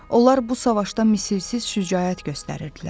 Onlar bu savaşda misilsiz şücaət göstərirdilər.